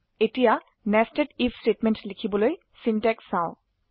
এতিয়া nested I F statement লিখিবলৈ syntax চাও